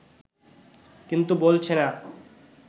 কিন্তু বলছে না